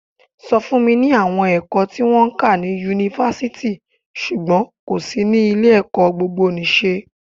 Sọ fún mi àwọn ẹ̀kọ́ tí wón ń kà ni Yunifasiti ṣùgbọ́n kò sí ní ilé ẹ̀kọ́ gbogbo nì ṣe?